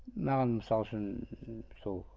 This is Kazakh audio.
маған мысалы үшін ы сол